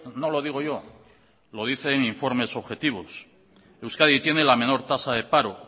no lo digo yo lo dicen informes objetivos euskadi tiene la menor tasa de paro